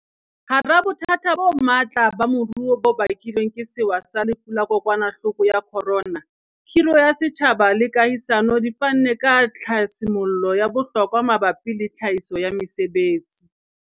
Hara bothata bo matla ba moruo bo bakilweng ke sewa sa Lefu la Kokwanahloko ya Corona, khiro ya setjhaba le kahisano di fanne ka tlhasi mollo ya bohlokwa mabapi le tlhahiso ya mesebetsi.